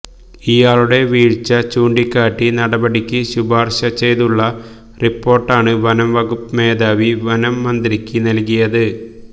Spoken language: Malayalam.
ഇയാളുടെ വീഴ്ച ചൂണ്ടിക്കാട്ടി നടപടിക്ക് ശിപാര്ശ ചെയ്തുള്ള റിപ്പോര്ട്ടാണ് വനംവകുപ്പ് മേധാവി വനം മന്ത്രിക്ക് നല്കിയത്